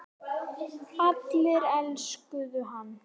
Allir elskuðu hann.